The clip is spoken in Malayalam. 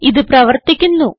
ഇത് പ്രവർത്തിക്കുന്നു